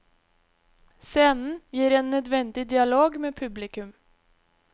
Scenen gir en nødvendig dialog med publikum.